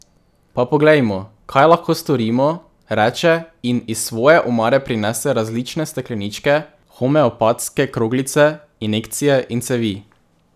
Pa poglejmo, kaj lahko storimo, reče in iz svoje omare prinese različne stekleničke, homeopatske kroglice, injekcije in cevi.